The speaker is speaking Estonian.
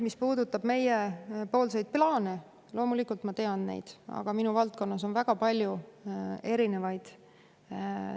Mis puudutab meiepoolseid plaane, siis loomulikult ma tean neid, aga minu valdkonnas on neid väga palju erinevaid.